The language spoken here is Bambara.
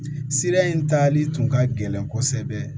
Sira in tali tun ka gɛlɛn kosɛbɛ